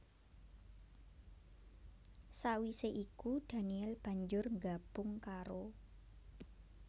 Sawisé iku daniel banjur nggabung karo